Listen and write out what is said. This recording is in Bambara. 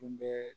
Tun bɛ